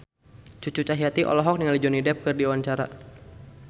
Cucu Cahyati olohok ningali Johnny Depp keur diwawancara